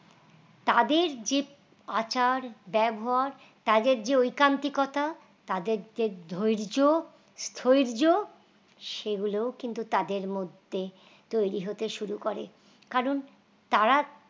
তাদের যে আচার ব্যবহার তাদের যে ওই কান্তিকতা তাদের যে ধৈর্য সোয়ের্য্য সেগুলোও কিন্তু তাদের মধ্যে তৈরি হতে শুরু করে কারণ তারা